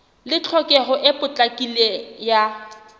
le tlhokeho e potlakileng ya